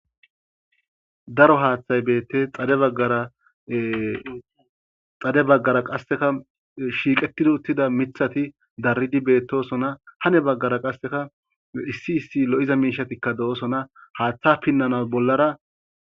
Daro hathayi betees xade bagara qaseka shiqetidi uthida mithati daridi de,osona hani bagara qasika issi issi lo,iza mishati betosona haththa pinanawu